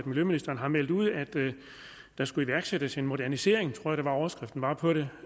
miljøministeren har meldt ud at der skulle iværksættes en modernisering tror jeg overskriften var på det